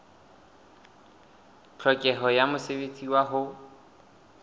tlhokeho ya mosebetsi wa ho